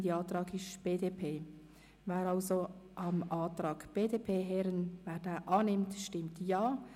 Wer den Antrag BDP [Herren-Brauen, Rosshäusern] annimmt, stimmt Ja.